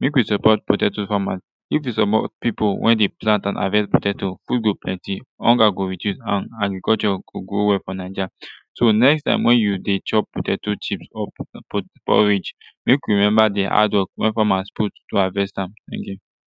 mek we support potato famas if we support pipu wey de plant an havest potato food go plenty hunger go reduce and agriculture go go well fo naija so next time wen yu de chop potato chip or potatoe porridge mek we remeber de hadwork wey farmers put to havest am